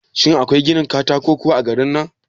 Shin akwai ginin katako kuwa a garin nan?